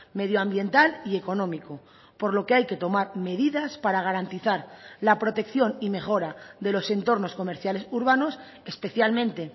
medioambiental y económico por lo que hay que tomar medidas para garantizar la protección y mejora de los entornos comerciales urbanos especialmente